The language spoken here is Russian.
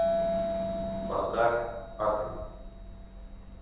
поставь атэми